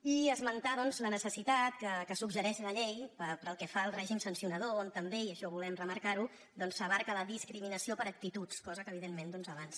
i esmentar doncs la necessitat que suggereix la llei pel que fa al règim sancionador en què també i això volem remarcar ho s’abasta la discriminació per actituds cosa que evidentment doncs abans